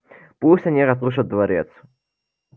пусть они разрушат дворец